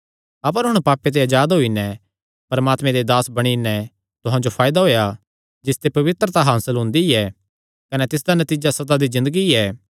अपर हुण पापे ते अजाद होई नैं परमात्मे दे दास बणी नैं तुहां जो फायदा होएया जिसते पवित्रता हासल हुंदी ऐ कने तिसदा नतीजा सदा दी ज़िन्दगी ऐ